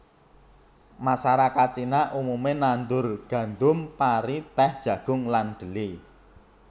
Masarakat Cina umume nandur gandum pari tèh jagung lan dhelé